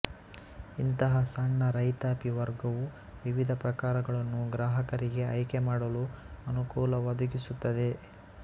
ಇಂತಹ ಸಣ್ಣ ರೈತಾಪಿ ವರ್ಗವು ವಿವಿಧ ಪ್ರಕಾರಗಳನ್ನು ಗ್ರಾಹಕರಿಗೆ ಆಯ್ಕೆ ಮಾಡಲು ಅನುಕೂಲ ಒದಗಿಸುತ್ತದೆ